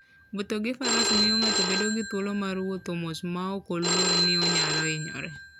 Wuotho gi faras miyo ng'ato bedo gi thuolo mar wuotho mos maok oluor ni onyalo hinyore.